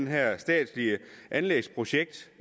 her statslige anlægsprojekt